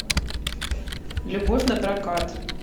любовь напрокат